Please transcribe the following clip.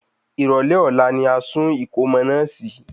Ìrọ̀lẹ́ ọ̀la ni a sùn ìkómo ọmọ náà sì í